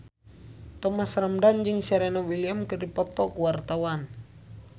Thomas Ramdhan jeung Serena Williams keur dipoto ku wartawan